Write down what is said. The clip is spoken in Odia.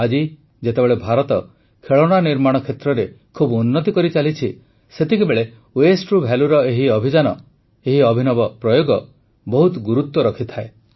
ଆଜି ଯେତେବେଳେ ଭାରତ ଖେଳଣା ନିର୍ମାଣ କ୍ଷେତ୍ରରେ ବହୁତ ଉନ୍ନତି କରିଚାଲିଛି ସେତେବେଳେ Wasteରୁ Valueର ଏହି ଅଭିଯାନ ଏହି ଅଭିନବ ପ୍ରୟୋଗ ବହୁତ ଗୁରୁତ୍ୱ ରଖିଥାଏ